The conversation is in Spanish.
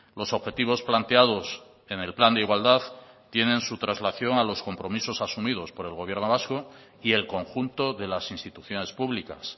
los objetivos planteados en el plan de igualdad tienen su traslación a los compromisos asumidos por el gobierno vasco y el conjunto de las instituciones públicas